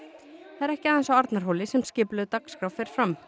það er ekki aðeins á Arnarhóli sem skipulögð dagskrá fer fram